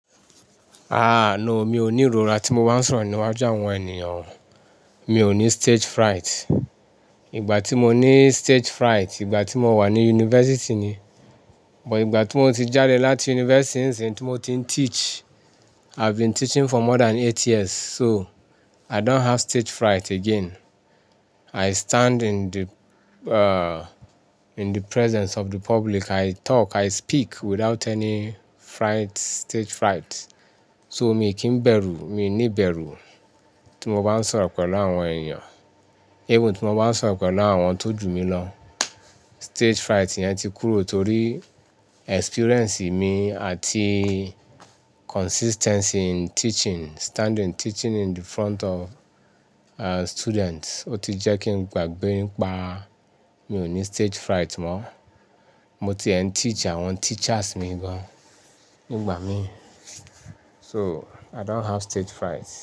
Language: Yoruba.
Aà, no mi ò ní ìrora tí mo bá ń sọ̀rọ̀ níwájú àwọn ènìyàn, mi ò ní stage fright. Ìgbà tí mo ní stage fright, ìgbà tí mo wà ní yunifásítì ni. Ìgbà tí mo ti jáde láti yunifásítì, ìsinsin tí mo ti ń teach, I've been teaching for more than eight years, so i don't have stage fright again. I stand in the, uh, in the presence of the public, i talk, i speak without any fright, stage fright. So mi kì ń bẹ̀rù, mi ní bẹ̀rù tí mo bá ń sọ̀rọ̀ pẹ̀lú àwọn ènìyàn, even tí mo bá ń sọ̀rọ̀ pẹ̀lú àwọn tó jù mí lọ. Stage fright yẹn ti kúrò tó rí experiemce mi àti consistency in teaching, standing, teaching in the front of students. Ó ti jẹ́ kí n gbàgbé nípa mi ò ní stage fright mọ́. Mo ti ẹ ń teach àwọn teachers mi gan nígbà mi. So i don't have stage fright.